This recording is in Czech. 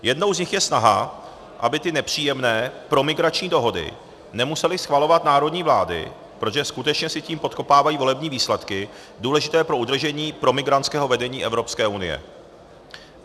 Jednou z nich je snaha, aby ty nepříjemné promigrační dohody nemusely schvalovat národní vlády, protože skutečně si tím podkopávají volební výsledky důležité pro udržení promigrantského vedení EU.